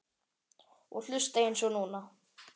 Og hlusta eins og núna.